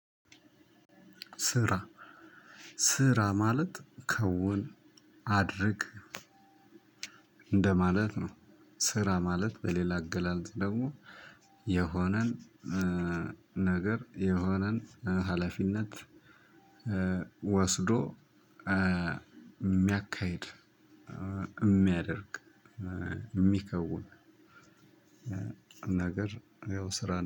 ስራ ስራ ማለት ከውን አድርግ እንደማለት ነው። ስራ ማለት በሌላ አገላለጽ ደግሞ የሆነን ነገር የሆነን ሀላፊነት ወስዶ እሚያካሂድ እሚያደርግ የሚከውን። ነገር ያው ስራ